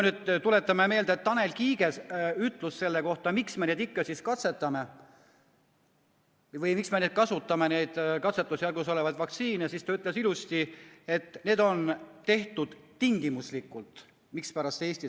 Tuletame meelde Tanel Kiige sõnu selle kohta, miks me siis ikka kasutame neid katsetusjärgus olevaid vaktsiine: ta ütles ilusti, et seda on tehtud tingimuslikult.